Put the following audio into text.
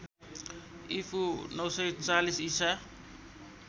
ईपू ९४० ईसा